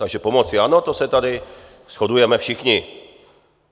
Takže pomoci ano, to se tady shodujeme všichni.